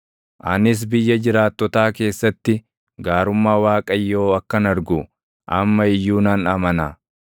Anis biyya jiraattotaa keessatti gaarummaa Waaqayyoo akkan argu amma iyyuu nan amana.